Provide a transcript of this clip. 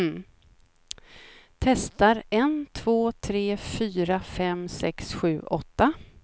Testar en två tre fyra fem sex sju åtta.